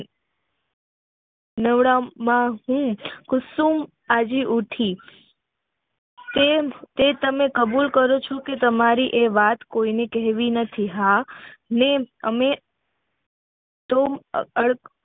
કુસુમ હાલી ઉઠી તે તમે કબુલ છો કે તમારી એ વાત કોઈ ન કહેવી નથી હા મેં અમે અમ